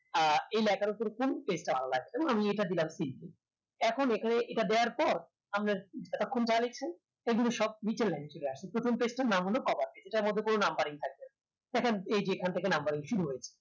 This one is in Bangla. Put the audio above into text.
আহ এই লেখা উপরে কোনটা ভালো লাগে আমি এটা দিলাম কিন্তু এখন এখানে এটা দেওয়ার পর আমি এতো খান যা দেখছিলাম সে গুলো সব নিচের line থেকে আসে প্রথমটা একটু নামলো সেটার মধ্যে কোনো numbering থাকবে না সেখানে এই যে এখন থেকে numbering শুরু হয়েছে